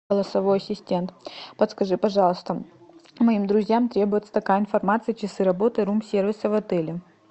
голосовой ассистент подскажи пожалуйста моим друзьям требуется такая информация часы работы рум сервиса в отеле